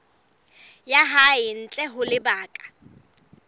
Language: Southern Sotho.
ya hae ntle ho lebaka